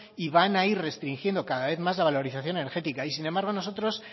y van a ir restringiendo cada vez más la valorización energética y sin embargo nosotros